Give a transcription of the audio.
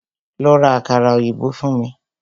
Lọ́ rá àkàrà òyìnbó fún mí!